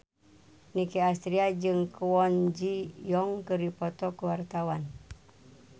Nicky Astria jeung Kwon Ji Yong keur dipoto ku wartawan